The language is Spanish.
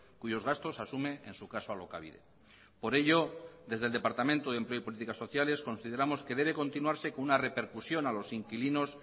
cuyos gastos asume en su caso alokabide por ello desde el departamento de empleo y políticas sociales consideramos que debe continuarse con una repercusión a los inquilinos